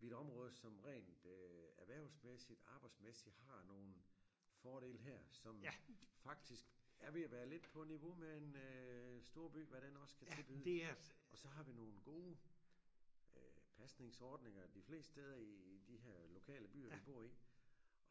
vi et område som rent øh erhvervsmæssigt arbejdsmæssigt har nogle fordele her som faktisk er ved at være lidt på niveau med en øh storby hvad den også kan tilbyde og så har vi nogle gode øh pasningsordninger de fleste steder i de her lokale byer vi bor i